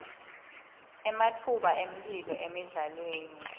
ematfuba emphilo emidlalweni